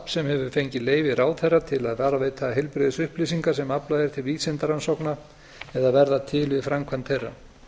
sem hefur fengið leyfi ráðherra til að varðveita heilbrigðisupplýsingar sem aflað er til vísindarannsókna eða verða til við framkvæmd þeirra